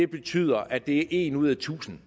betyder at det er en ud af tusind